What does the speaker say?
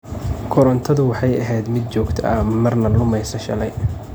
Korontadu waxay ahayd mid jogta marna lumeysa shalay.